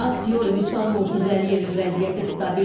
Aktror Vüsal Murtuzəliyevin vəziyyəti stabildir.